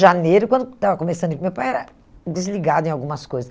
Janeiro, quando estava começando, meu pai era desligado em algumas coisas.